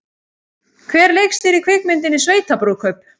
Hver leikstýrði kvikmyndinni Sveitabrúðkaup?